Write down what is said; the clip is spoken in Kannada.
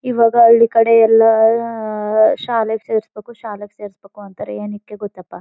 ಇವಾಗೆ ಹಳ್ಳಿ ಕಡೆ ಎಲ್ಲ ಅ ಅ ಅ ಶಾಲೆಗೇ ಸೇರಿಸ್ಬೇಕು ಶಾಲೆಗೇ ಸೇರಿಸ್ಬೇಕು ಅಂತಾರೆ. ಏನಿಕೆ ಗೊತ್ತಪ್ಪ.